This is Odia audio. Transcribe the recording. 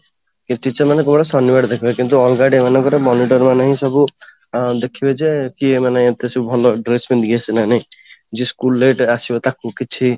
teacher ମାନେ କେବଳ ଶନିବାର ଦେଖିବେ କିନ୍ତୁ ଅଲଗା day ମାନଙ୍କରେ monitor ମାନଙ୍କୁ ସବୁ ଆଁ ଦେଖିବେ ଯେ କିଏ ମାନେ ଏତେ ସବୁ ଭଲ dress ପିଂଧିକି ଆସିଛି ନା ନାଇଁ ଯିଏ school late ରେ ଆସିବା ତାକୁ କିଛି